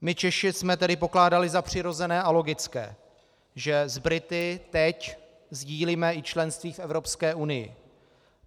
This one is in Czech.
My Češi jsme tedy pokládali za přirozené a logické, že s Brity teď sdílíme i členství v Evropské unii.